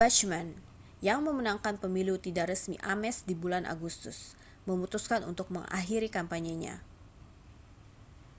bachmann yang memenangkan pemilu tidak resmi ames di bulan agustus memutuskan untuk mengakhiri kampanyenya